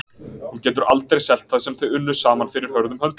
Hún getur aldrei selt það sem þau unnu saman fyrir hörðum höndum.